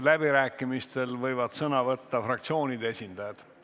Läbirääkimistel võivad sõna võtta fraktsioonide esindajad.